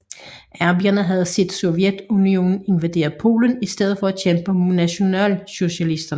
Arbejderne havde set Sovjetunionen invadere Polen i stedet for at kæmpe mod nationalsocialisterne